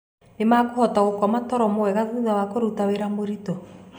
Nĩ mekũhota gũkoma toro mwega thutha wa kũruta wĩra mũritũ?